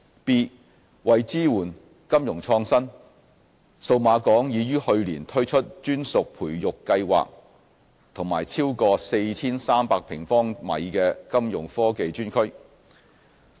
b 為支援金融創新，數碼港已於去年推出專屬培育計劃和超過 4,300 平方米的金融科技專區。